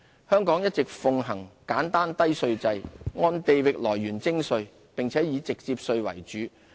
香港一直奉行簡單低稅制，按地域來源徵稅，並以直接稅為主。